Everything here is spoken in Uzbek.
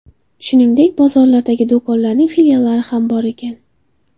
Shuningdek, bozorlardagi do‘konlarning filiallari ham bor ekan.